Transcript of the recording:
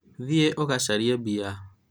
thiĩ ũgacarie mbia